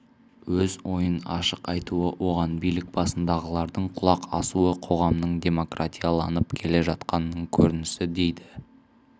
өз ойын ашық айтуы оған билік басындағылардың құлақ асуы қоғамның демократияланып келе жатқанының көрінісі дейді